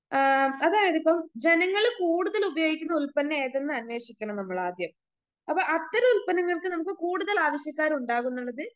ആ അതായതിപ്പം ജനങ്ങള് കൂടുതല് ഉപയോഗിക്കുന്ന ഉൽപ്പന്നം ഏതെന്ന് അന്യോഷിക്കണം നമ്മളാദ്യം അപ്പൊ അത്തരം ഉൽപ്പന്നങ്ങൾക്ക് നമുക്ക് കൂടുതൽ ആവശ്യക്കാർ ഉണ്ടാകുംന്നുണുള്ളത്